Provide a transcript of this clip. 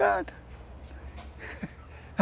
Pronto